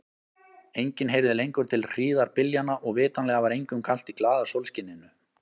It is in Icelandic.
Enginn heyrði lengur til hríðarbyljanna og vitanlega var engum kalt í glaða sólskininu.